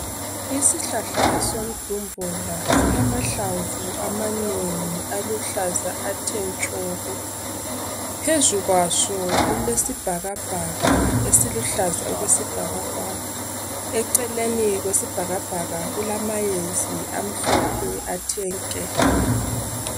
Isihlahla somdumbula silamahlamvu amanengi aluhlaza athe tshoko. Phezu kwaso kulesibhakabhaka esiluhlaza okwesibhakabhaka, eceleni kwesibhakabhaka kulamayezi amhlophe athe nke.